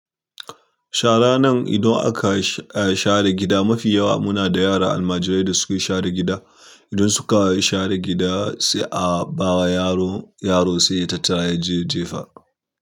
Shara nan idan aka, eh share gida mafi yawa muna da yara almajirai da suke share gida. Idan suka share gida sai a bawa yaron, yaro sai ya tattara yaje ya jefa.